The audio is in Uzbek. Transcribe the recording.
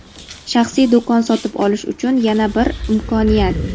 Shaxsiy do‘kon sotib olish uchun yana bir imkoniyat.